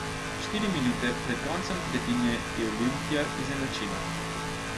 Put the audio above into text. Štiri minute pred koncem tretjine je Olimpija izenačila.